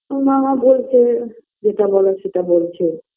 মামা বলছে যেটা বলার সেটা বলছে